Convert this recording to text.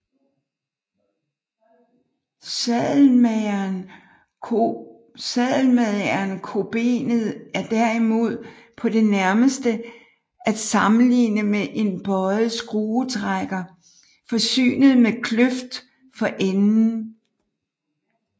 Sadelmagerkobenet er derimod på det nærmeste at sammenligne med en bøjet skruetrækker forsynet med kløft for enden